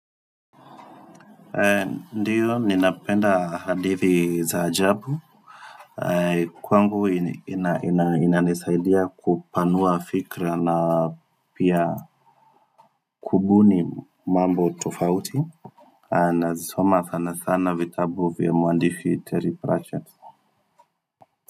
Ndio ninapenda hadithi za ajabu kwangu ina inanisaidia kupanua fikra na pia kubuni mambo tofauti nazisoma sana sana vitabu vya mwandishi teri prachat.